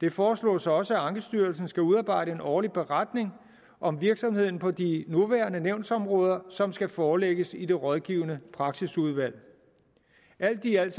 det foreslås også at ankestyrelsen skal udarbejde en årlig beretning om virksomheden på de nuværende nævnsområder som skal forelægges i det rådgivende praksisudvalg alt i alt